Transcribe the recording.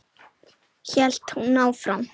hélt hún áfram.